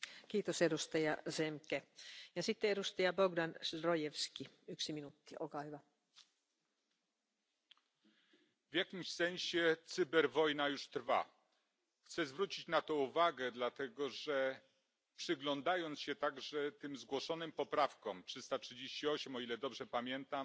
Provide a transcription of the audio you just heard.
Pani Przewodnicząca! W jakimś sensie cyberwojna już trwa. Chcę zwrócić na to uwagę dlatego, że przyglądając się także tym zgłoszonym poprawkom 338, o ile dobrze pamiętam także w nich widać